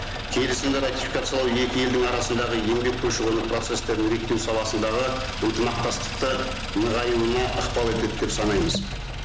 келісімді ратификациялау екі елдің арасындағы еңбек көші қон процесстерін реттеу саласындағы ынтымақтастықты нығаюына ықпал етеді деп санаймыз